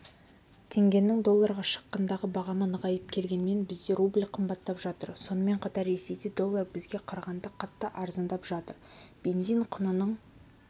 теңгенің долларға шаққандағы бағамы нығайып келгенімен бізде рубль қымбаттап жатыр сонымен қатар ресейде доллар бізге қарағанда қатты арзандап жатыр бензин құнының